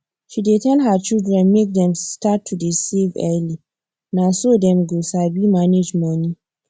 she dey tell her children make dem start to save early na so dem go sabi manage money